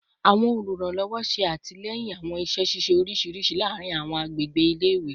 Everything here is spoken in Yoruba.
Awọn oluranlọwọ ṣe atilẹyin awọn iṣẹ ṣiṣe oriṣiriṣi laarin awọn agbegbe ile-iwe